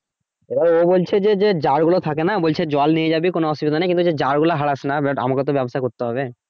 এবার ও বলছে যে যার থাকে না বলছে সে জল নিয়ে যাবি কোন অসুবিধা নাই কিন্তু ওইযে যার গুলো হারাইস না but আমাকেও তো ব্যবসা করতে হবে।